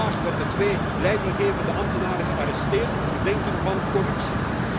En vandaag werden twee leidinggevende ambtenaren gearresteerd op verdenking van corruptie.